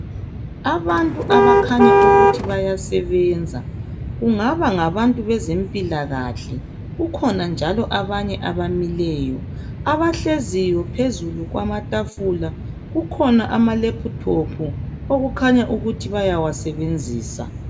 Abantu abakhanya ukuthi bayasebenza. Kungaba ngabantu bezempila kahle .Kukhona njalo abanye abamileyo. Abahleziyo phezulu kwamstafula , kukhona ama laptop okakhanya ukuthi bayawasebenzisa.